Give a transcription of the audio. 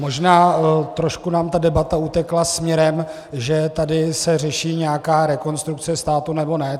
Možná trošku nám ta debata utekla směrem, že se tady řeší nějaká Rekonstrukce státu nebo ne.